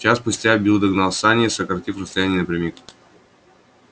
час спустя билл догнал сани сократив расстояние напрямик